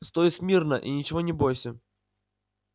стой смирно и ничего не бойся